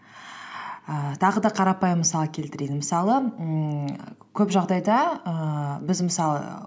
ііі тағы да қарапайым мысал келтірейін мысалы ммм көп жағдайда ііі біз мысалы